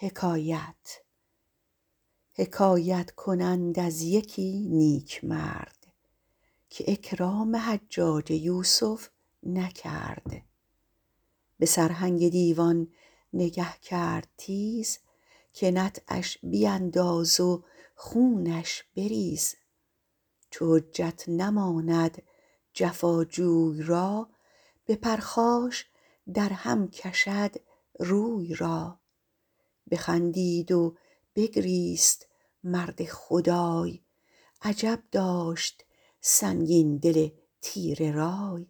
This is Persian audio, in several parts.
حکایت کنند از یکی نیکمرد که اکرام حجاج یوسف نکرد به سرهنگ دیوان نگه کرد تیز که نطعش بیانداز و خونش بریز چو حجت نماند جفا جوی را به پرخاش در هم کشد روی را بخندید و بگریست مرد خدای عجب داشت سنگین دل تیره رای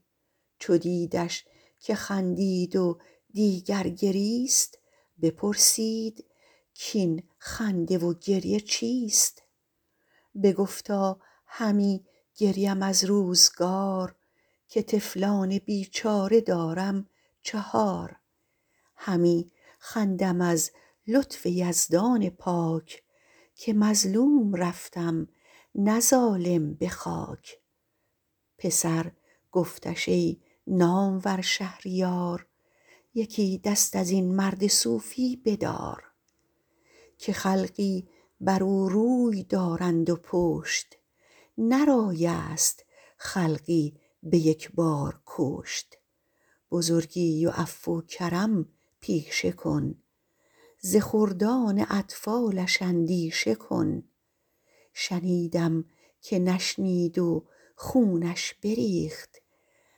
چو دیدش که خندید و دیگر گریست بپرسید کاین خنده و گریه چیست بگفتا همی گریم از روزگار که طفلان بیچاره دارم چهار همی خندم از لطف یزدان پاک که مظلوم رفتم نه ظالم به خاک پسر گفتش ای نامور شهریار یکی دست از این مرد صوفی بدار که خلقی بر او روی دارند و پشت نه رای است خلقی به یک بار کشت بزرگی و عفو و کرم پیشه کن ز خردان اطفالش اندیشه کن شنیدم که نشنید و خونش بریخت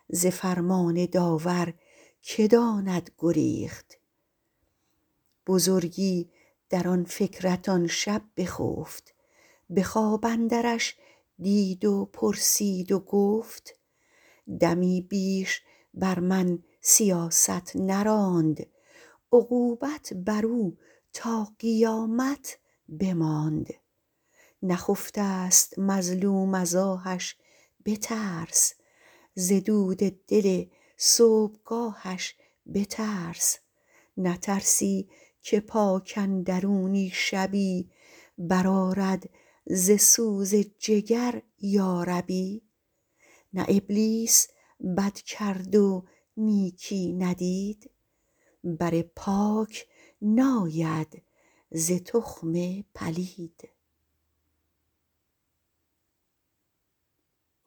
ز فرمان داور که داند گریخت بزرگی در آن فکرت آن شب بخفت به خواب اندرش دید و پرسید و گفت دمی بیش بر من سیاست نراند عقوبت بر او تا قیامت بماند نخفته ست مظلوم از آهش بترس ز دود دل صبحگاهش بترس نترسی که پاک اندرونی شبی بر آرد ز سوز جگر یا ربی نه ابلیس بد کرد و نیکی ندید بر پاک ناید ز تخم پلید